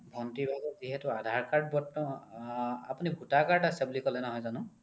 ভোন্তিৰ ভাগৰ যিহেতু aadhar card আ আপোনি voter card আছে বুলি ক'লে নহয় জানো ?